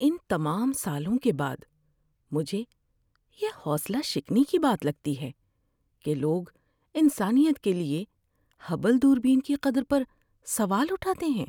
ان تمام سالوں کے بعد، مجھے یہ حوصلہ شکنی کی بات لگتی ہے کہ لوگ انسانیت کے لیے ہبل دوربین کی قدر پر سوال اٹھاتے ہیں۔